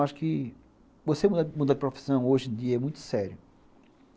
Acho que você mudar de profissão hoje em dia é muito sério.